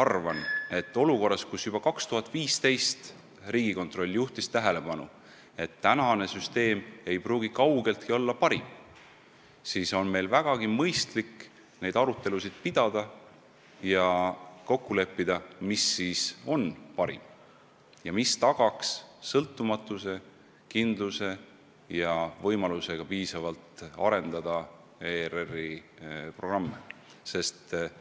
arvan, et olukorras, kus juba 2015. aastal Riigikontroll juhtis tähelepanu sellele, et kehtiv mudel ei pruugi kaugeltki olla parim, on meil vägagi mõistlik sel teemal arutelusid pidada ja kokku leppida, mis ikkagi on parim, mis tagaks sõltumatuse, kindluse ja võimaluse ERR-i programme piisavalt arendada.